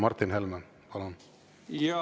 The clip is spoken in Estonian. Martin Helme, palun!